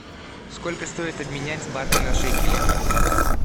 сколько стоит обменять баты на шекели